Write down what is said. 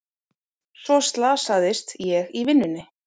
Svo slasaðist ég í vinnunni.